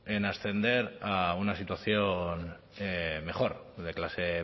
en ascender a una situación mejor o de clase